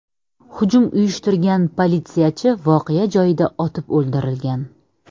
Hujum uyushtirgan politsiyachi voqea joyida otib o‘ldirilgan.